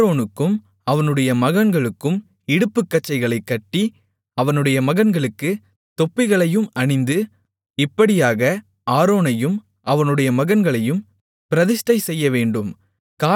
ஆரோனுக்கும் அவனுடைய மகன்களுக்கும் இடுப்புக்கச்சைகளைக் கட்டி அவனுடைய மகன்களுக்கு தொப்பிகளையும் அணிந்து இப்படியாக ஆரோனையும் அவனுடைய மகன்களையும் பிரதிஷ்டை செய்யவேண்டும்